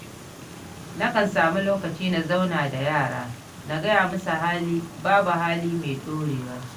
Na kan samu lokaci na zauna da yarana, na gaya musu babu hali mai ɗorewa.